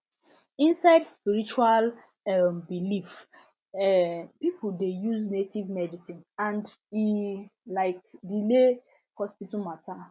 inside spiritual um belief um people dey use native medicine and e um delay hospital matter